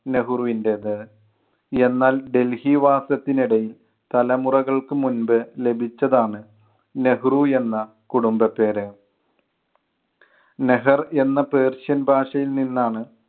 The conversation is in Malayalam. നെഹ്രുവിൻ്റെത്. എന്നാൽ ഡൽഹി വാസത്തിനിടയിൽ തലമുറകൾക്ക് മുൻപ് ലഭിച്ചതാണ് നെഹ്‌റു എന്ന കുടുംബപ്പേര്. നെഹർ എന്ന പേർഷ്യൻ ഭാഷയിൽ നിന്നാണ്